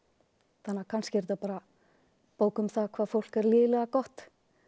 þannig að kannski er þetta bara bók um það hvað fólk er lygilega gott